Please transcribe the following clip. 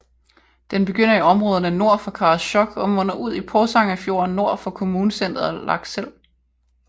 Den begynder i områderne nord for Karasjok og munder ud i Porsangerfjorden nord for kommunecenteret Lakselv